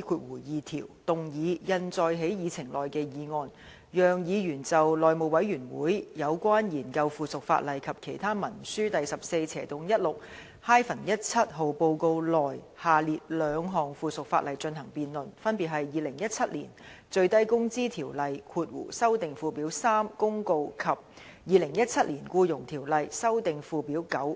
49E2 條，動議印載在議程內的議案，讓議員就《內務委員會有關研究附屬法例及其他文書的第 14/16-17 號報告》內下列兩項附屬法例進行辯論，分別是《2017年最低工資條例公告》及《2017年僱傭條例公告》。